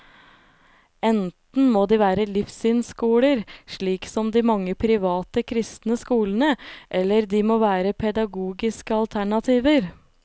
Enten må de være livssynsskoler, slik som de mange private kristne skolene, eller de må være pedagogiske alternativer.